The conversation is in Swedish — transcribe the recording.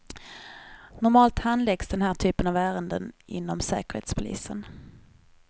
Normalt handläggs den här typen av ärenden inom säkerhetspolisen.